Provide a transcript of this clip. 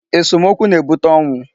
Esomokwu na-ebute ọnwụ.